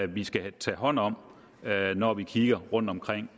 vi skal tage hånd om når vi kigger rundtomkring